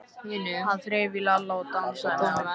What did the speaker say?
Hann þreif í Lalla og dansaði með hann.